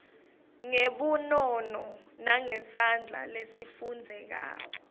ngebunono nangesandla lesifundzekako